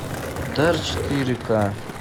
дар четыре ка